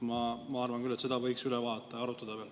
Ma arvan küll, et seda võiks üle vaadata ja arutada veel.